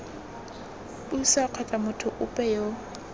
puso kgotsa motho ope yo